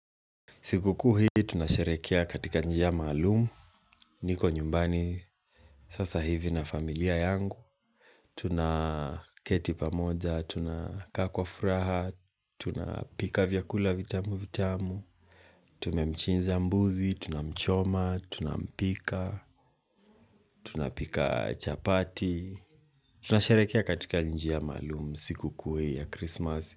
Siku kuu hii tuna sherekea katika njia maalum. Niko nyumbani sasa hivi na familia yangu. Tunaketipamoja, tunakakaa kwa furaha, tunapika vyakula vitamu vitamu, tumemchinja mbuzi, tunamchoma, tunampika, tunapika chapati. Tunasharehekea katika njia maalumu siku kuu ya Christmas.